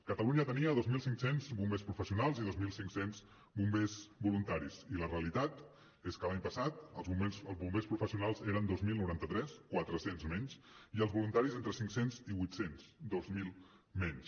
catalunya tenia dos mil cinc cents bombers professionals i dos mil cinc cents bombers voluntaris i la realitat és que l’any passat els bombers professionals eren dos mil noranta tres quatre cents menys i els voluntaris entre cinc cents i vuit cents dos mil menys